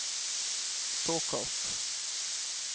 såkalt